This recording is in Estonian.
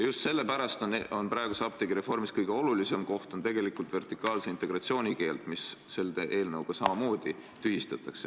Just sellepärast on praeguse apteegireformi puhul kõige olulisem tegelikult vertikaalse integratsiooni keeld, mis selle eelnõuga aga tühistatakse.